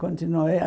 Continuou. E a